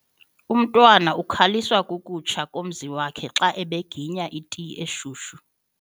Umntwana ukhaliswa kukutsha kommizo wakhe xa ebeginya iti eshushu.